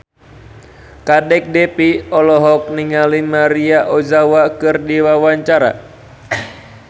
Kadek Devi olohok ningali Maria Ozawa keur diwawancara